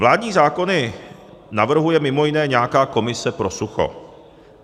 Vládní zákony navrhuje mimo jiné nějaká komise pro sucho.